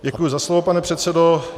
Děkuji za slovo, pane předsedo.